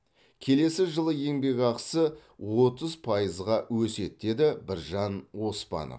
келесі жылы еңбекақысы отыз пайызға өседі деді біржан оспанов